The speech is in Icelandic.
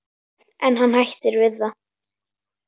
En hann hættir við það.